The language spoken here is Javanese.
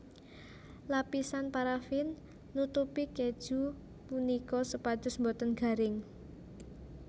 Lapisan parafin nutupi keju punika supados boten garing